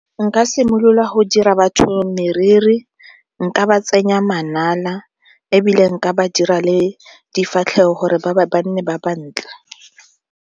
Nka simolola go dira batho meriri, nka ba tsenya manala ebile nka ba dira le difatlhego gore ba nne ba bantle.